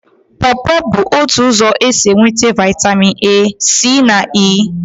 Pọpọ bụ otu ụzọ esi enweta Vitamin A, C na E.